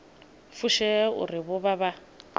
fushea uri vho vha vha